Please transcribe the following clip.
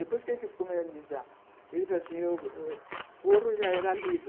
Depois que a gente ,ele falou assim, forro já era livre.